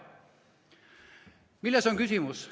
Milles on küsimus?